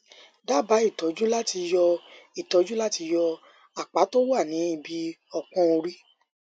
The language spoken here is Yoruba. dábàá ìtọjú láti yọ ìtọjú láti yọ apá tó wà ní ibi ọpọn orí